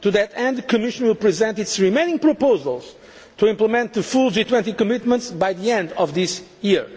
possible. To that end, the Commission will present its remaining proposals to implement the full G20 commitments by the end of this